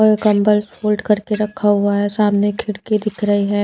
और कंबल फोल्ड करके रखा हुआ है सामने खिड़की दिख रही है।